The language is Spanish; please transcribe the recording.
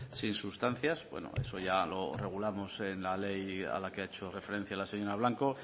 sin sustancias bueno eso ya lo regulamos en la ley a la que ha hecho referencia la señora blanco